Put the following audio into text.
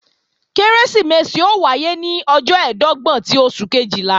Kérésìmesì ó wáyé ní ọjọ́ ẹ̀ẹ́dọ́gbọ̀n ti oṣù Kejìlá